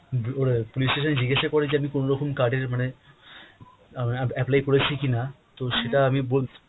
police station এ জিজ্ঞাসা করে যে আমি কোন রকম card এর মানে আপ~ আপ~ apply করেছি কিনা তো সেটা বোল।